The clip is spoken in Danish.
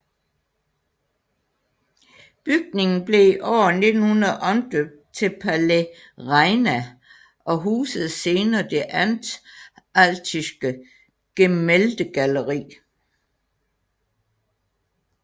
Bygningen blev i år 1900 omdøbt til Palais Reina og husede senere det Anhaltische Gemäldegalerie